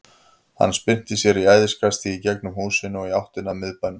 Hann spyrnti sér í æðiskasti í gegnum húsin og í áttina að miðbænum.